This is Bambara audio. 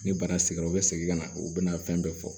Ni bana sɛgɛnra u bɛ segin ka na u bɛna fɛn bɛɛ fɔ